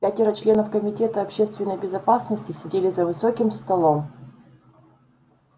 пятеро членов комитета общественной безопасности сидели за высоким столом